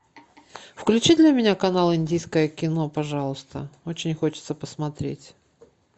включи для меня канал индийское кино пожалуйста очень хочется посмотреть